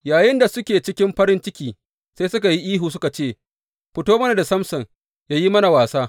Yayinda suke cikin farin ciki, sai suka yi ihu, suka ce, Fito mana da Samson yă yi mana wasa.